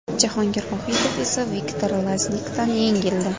Jahongir Vohidov esa Viktor Laznikdan yengildi.